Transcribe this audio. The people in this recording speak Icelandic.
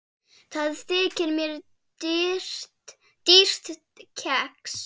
Það þykir mér dýrt kex.